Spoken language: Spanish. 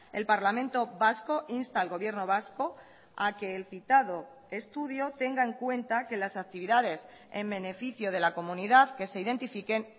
el parlamento vasco insta al gobierno vasco a que el citado estudio tenga en cuenta que las actividades en beneficio de la comunidad que se identifiquen